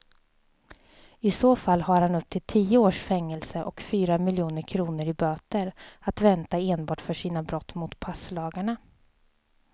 I så fall har han upp till tio års fängelse och fyra miljoner kronor i böter att vänta enbart för sina brott mot passlagarna.